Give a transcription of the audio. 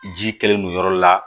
Ji kɛlen don yɔrɔ la